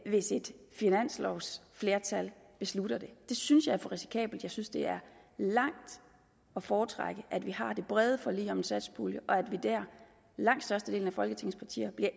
hvis et finanslovsflertal beslutter det det synes jeg er for risikabelt jeg synes det er langt at foretrække at vi har et bredt forlig om satspuljen og at langt størstedelen af folketingets partier der